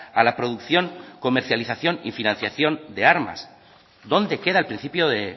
a la producción comercialización y financiación de armas dónde queda el principio de